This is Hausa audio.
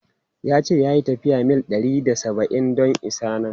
Ya ce ya yi tafiyar mil ɗari da saba’in don isa nan.